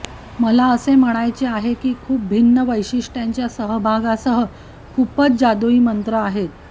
मला असे म्हणायचे आहे की खूप भिन्न वैशिष्ट्यांच्या सहभागासह खूपच जादूई मंत्र आहेत